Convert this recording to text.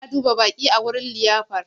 Ana duba baƙi a wurin liyafar.